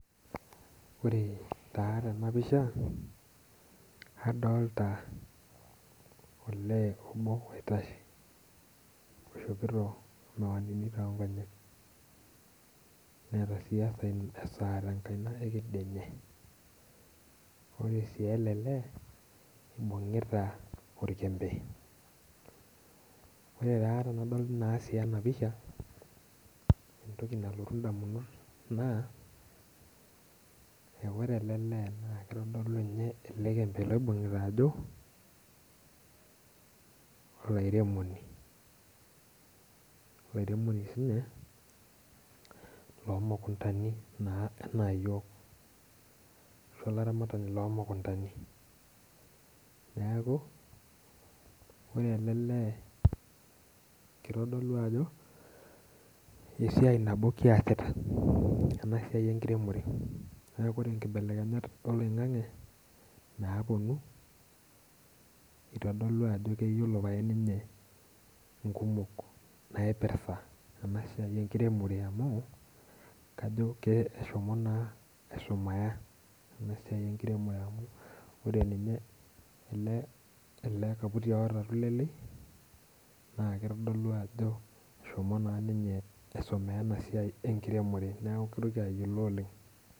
Ore taa tena pisha, adta olee oitashe, oishopito miwaninu too nkonyek, neeta sii esaa te nkaina ekedianye. ore sii ele lee. ibungitaborkembe. ore taa tenadol ena pisha. ore entoki nalotu damunot naa, ore ele lee naa kitodolu ninye ele kembe loibungita ajo, olairemoni. olairemoni sii ninye loo mukuntani anaa iyiook, ashu olaramatani loo mukuntani. neeku ore ele lee. kitodolu ajo esiai nabo kiasita .ena siai enkiremore. neeku kitodolu ajo nkibelekenyat oloingang'e naapuonu. kitodolu ajo keyiolo pae ninye, inkumok naipirta, ena siai enkiremore amu kajo keshomo naa ashumaa ena siai enkiremore, ore ninye ele kaputi oota amu lele. naa kitodolu ajo, eshomo naa ninye aisomea ena siai enkiremore neeku kitoki ayiolo oleng.